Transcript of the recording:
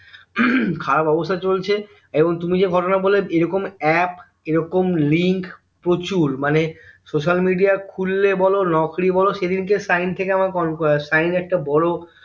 উহ খারাব অবস্থা চলছে এবং তুমি যে ঘটনা বল্লে এইরকম app এইরকম Link প্রচুর মানে social media খুললে বলো নকরি বলো সেদিনকে shine থেকে আমাকে সাইন একটা বড়